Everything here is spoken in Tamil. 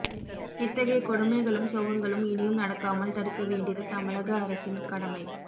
இத்தகைய கொடுமைகளும் சோகங்களும் இனியும் நடக்காமல் தடுக்க வேண்டியது தமிழக அரசின் கடமை